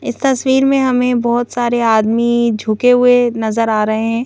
इस तस्वीर में हमें बहुत सारे आदमी झुके हुए नजर आ रहे हैं।